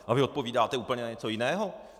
A vy odpovídáte úplně na něco jiného?